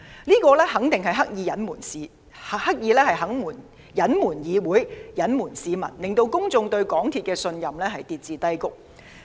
港鐵公司肯定是刻意對議會及市民有所隱瞞，令公眾對港鐵公司的信任跌至低谷。